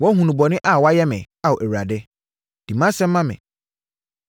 Woahunu bɔne a wɔayɛ me, Ao Awurade. Di mʼasɛm ma me!